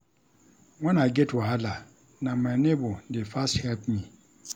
Wen I get wahala, na my nebor dey first help me.